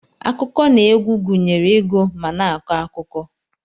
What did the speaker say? Akụkọ na egwu gunyere igu ma na akọ akụkọ.